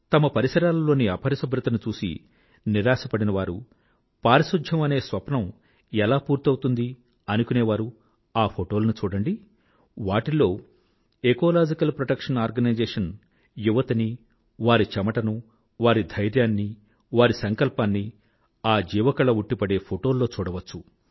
తమ పరిసరాలలోని అపరిశుభ్రతను చూసి నిరాశపడినవారూ పారిశుధ్యం అనే స్వప్నం ఎలా పూర్తవుతుంది అనుకునేవారూ ఆ ఫోటోలను చూడండి వాటిల్లో ఎకాలజికల్ ప్రొటెక్షన్ ఆర్గనైజేషన్ యువతనీ వారి చెమటనూ వారి ధైర్యాన్నీ వారి సంకల్పాన్నీ ఆ జీవకళ ఉట్టిపడే ఫోటోల్లో చూడవచ్చు